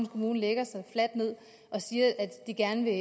kommune lægger sig fladt ned og siger at de gerne vil